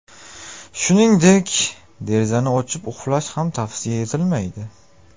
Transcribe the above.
Shuningdek, derazani ochib uxlash ham tavsiya etilmaydi.